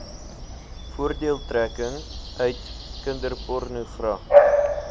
voordeeltrekking uit kinderpornogra